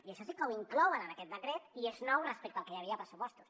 i això sí que ho inclouen en aquest decret i és nou respecte al que hi havia a pressupostos